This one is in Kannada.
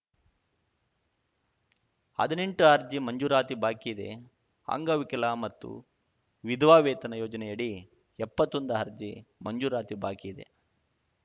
ಹದಿನೆಂಟು ಅರ್ಜಿ ಮಂಜೂರಾತಿ ಬಾಕಿ ಇದೆ ಅಂಗವಿಕಲ ಮತ್ತು ವಿಧವಾ ವೇತನ ಯೋಜನೆಯಡಿ ಎಪ್ಪತ್ತೊಂದು ಅರ್ಜಿ ಮಂಜೂರಾತಿ ಬಾಕಿ ಇದೆ